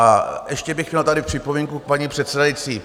A ještě bych měl tady připomínku k paní předsedající.